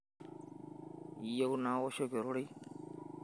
iyieu naoshoki ororei